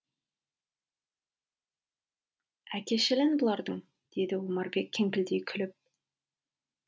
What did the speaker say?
әкешілін бұлардың деді омарбек кеңкілдей күліп